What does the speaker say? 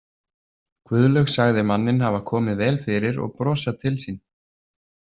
Guðlaug sagði manninn hafa komið vel fyrir og brosað til sín.